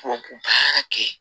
Tubabu baara kɛ